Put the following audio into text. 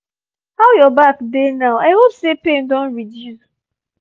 how your back dey now? i hope say pain don reduce